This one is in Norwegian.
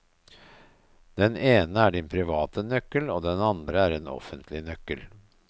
Den ene er din private nøkkel, og den andre er en offentlig nøkkel.